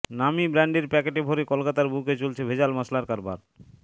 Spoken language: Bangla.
নামী ব্র্যান্ডের প্যাকেটে ভরে কলকাতার বুকে চলছে ভেজাল মশলার কারবার